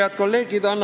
Head kolleegid!